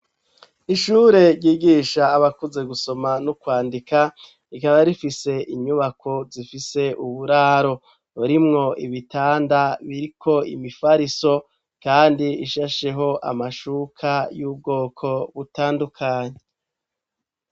Ishure ryigisha abakuze gusoma no kwandika, rikaba rifise inyubako zifise uburaro burimwo ibitanda biriko imifariso kandi ishasheho amashuka y'ubwoko butandukanye.